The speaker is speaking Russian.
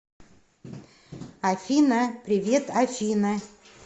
афина привет афина